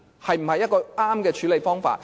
是否一個正確的處理方法？